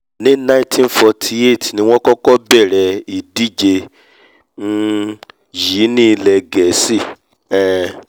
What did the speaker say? ní nineteen forty eight ní wọ́n kọ́kọ́ bẹ̀rẹ̀ ìdíje um yìí ní ilẹ̀ gẹ̀ẹ́sì um